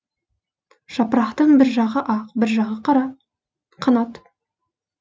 жапырақтың бір жағы ақ бір жағы қара қанат